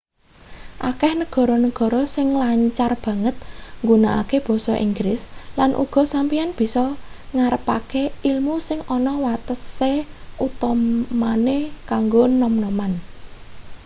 akeh negara-negara sing lancar banget nggunakke basa inggris lan uga sampeyan bisa ngarepake ilmu sing ana watese utamane kanggo nom-noman